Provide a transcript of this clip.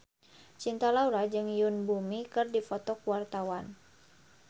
Cinta Laura jeung Yoon Bomi keur dipoto ku wartawan